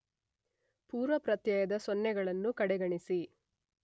ಪೂರ್ವಪ್ರತ್ಯಯದ ಸೊನ್ನೆಗಳನ್ನು ಕಡೆಗಣಿಸಿ